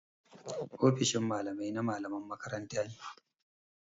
Ofishin Mallamai na mallaman makaranta ne.